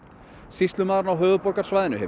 sýslumaðurinn á höfuðborgarsvæðinu hefur